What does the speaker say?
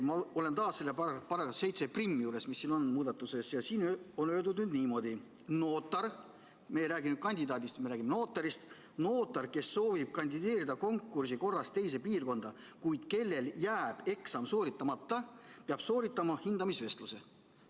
Ma olen taas selle § 71 juures, mis on muudatusena esitatud, ja siin on öeldud niimoodi: notar – me ei räägi nüüd kandidaadist, vaid me räägime notarist –, kes soovib kandideerida konkursi korras teise piirkonda, kuid kellel jääb eksam sooritamata, peab sooritama hindamisvestluse.